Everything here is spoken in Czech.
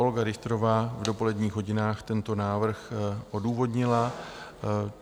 Olga Richterová v dopoledních hodinách tento návrh odůvodnila.